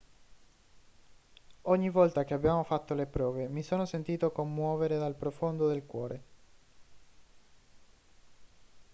ogni volta che abbiamo fatto le prove mi sono sentito commuovere dal profondo del cuore